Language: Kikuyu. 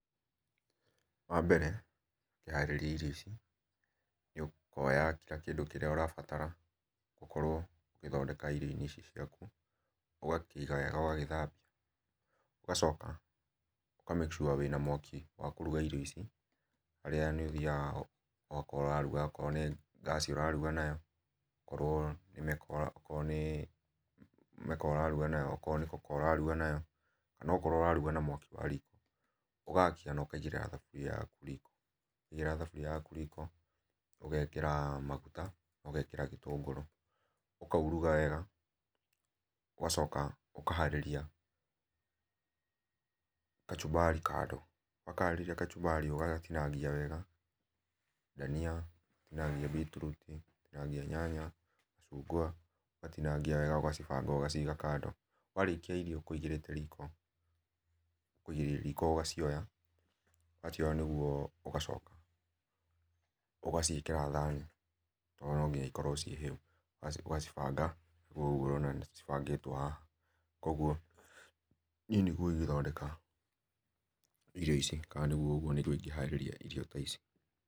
Wa mbere ngĩharĩrĩa irio ici nĩ ũkũoya kĩla kĩndũ ũrabatara ũgũkorwo ũkĩthondeka irio inĩ ici ciakũ, ũgakĩiga wega ũgagĩthambĩa ũgacoka ũka make sure wĩna mwaki wa kũrũga irio ici harĩa nĩ ũthĩaga ũgakora ũrarũga okorwo nĩ gas ũrarũga nayo korwo nĩ meko okoro nĩ meko ũrarũga nayo okoro nĩ koko ũrarũga nayo kana okoro ũrarũga na mwakĩ wa riko ũgakĩa na ũkaigĩraĩra thabũria yakũ riko, ũgaekera magũta ũgaekera gĩtũngũrũ ũkaũrũga wega ũgacoka ũkaharĩrĩa kachũmbarĩ kando, wakaharĩrĩa kachũmbarĩ ũgagatinagia wega na dania na ngĩnya beetroot na ngĩnya nyanya ũgatĩnagĩa wega ũgacibanga ũgaciga kando, warĩkĩa irio kũĩgĩrĩte rĩko ũgacioya wacioya nĩgũo ũgacoka ũgacĩekera thanĩ tondũ nũ gĩnya cikorwo cie hĩũ ũgacĩbanga ũgũo ũrona cibagĩtwo haha, kwogo nĩe nĩgũo ingĩthondeka irio ici kana nĩgũo igĩharĩrĩa irio ta icĩ.